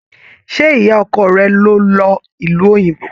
Ṣe ìyá ọkọ rẹ ló lọ ìlú òyìnbó?